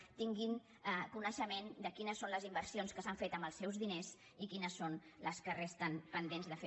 tinguin coneixement de quines són les inversions que s’han fet amb els seus diners i quines són les que resten pendents de fer